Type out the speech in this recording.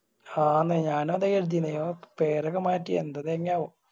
ഹാന്നേ ഞാനു അതാ കരുതിയിന് ഇവൻ പേരൊക്കെ മാറ്റി എന്ത് തെങ്ങായാവോ